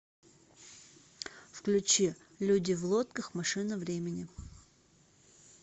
включи люди в лодках машина времени